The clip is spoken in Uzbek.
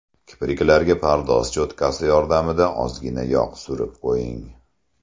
Kipriklarga pardoz cho‘tkachasi yordamida ozgina yog‘ surib qo‘ying.